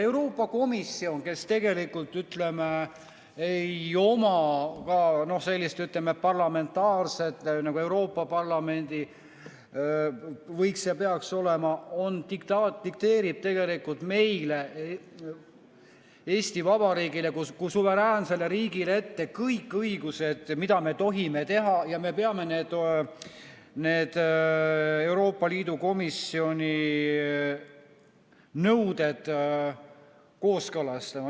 Euroopa Komisjon, kes tegelikult ei oma ka sellist, ütleme, parlamentaarsust nagu Euroopa Parlamendil võiks olla ja peaks olema, dikteerib meile, Eesti Vabariigile kui suveräänsele riigile kõik õigused, mida me tohime teha, ja me peame need Euroopa Liidu komisjoni nõuded kooskõlastama.